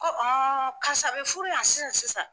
Ko karisa bɛ furu yan sisan sisan.